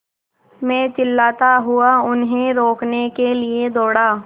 मैं चिल्लाता हुआ उन्हें रोकने के लिए दौड़ा